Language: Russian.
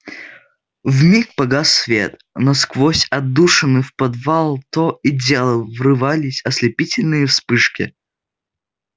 вмиг погас свет но сквозь отдушины в подвал то и дело врывались ослепительные вспышки